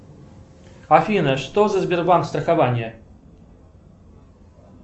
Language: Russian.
афина что за сбербанк страхование